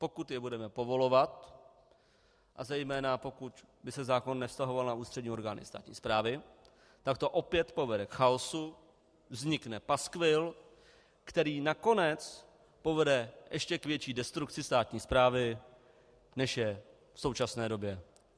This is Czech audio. Pokud je budeme povolovat a zejména pokud by se zákon nevztahoval na ústřední orgány státní správy, tak to opět povede k chaosu, vznikne paskvil, který nakonec povede ještě k větší destrukci státní správy, než je v současné době.